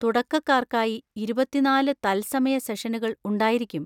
തുടക്കക്കാർക്കായി ഇരുപത്തിനാല് തത്സമയ സെഷനുകൾ ഉണ്ടായിരിക്കും.